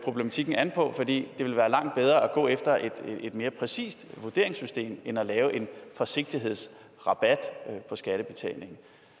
problematikken an på det ville være langt bedre at gå efter et mere præcist vurderingssystem end at lave en forsigtighedsrabat på skattebetalingen